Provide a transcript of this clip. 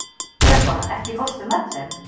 Debóra, ekki fórstu með þeim?